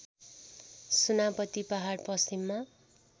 सुनापति पहाड पश्चिममा